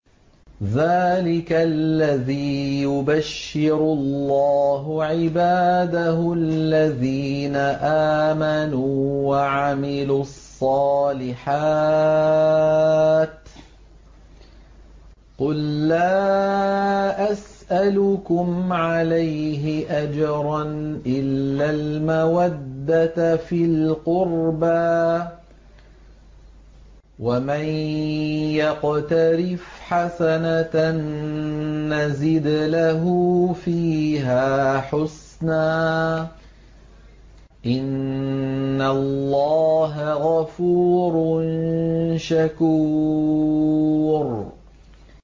ذَٰلِكَ الَّذِي يُبَشِّرُ اللَّهُ عِبَادَهُ الَّذِينَ آمَنُوا وَعَمِلُوا الصَّالِحَاتِ ۗ قُل لَّا أَسْأَلُكُمْ عَلَيْهِ أَجْرًا إِلَّا الْمَوَدَّةَ فِي الْقُرْبَىٰ ۗ وَمَن يَقْتَرِفْ حَسَنَةً نَّزِدْ لَهُ فِيهَا حُسْنًا ۚ إِنَّ اللَّهَ غَفُورٌ شَكُورٌ